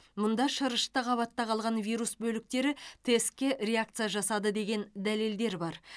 мұнда шырышты қабатта қалған вирус бөліктері тестке реакция жасады деген дәлелдер бар